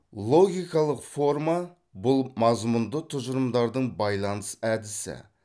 логикалық форма бұл мазмұнды тұжырымдардың байланыс әдісі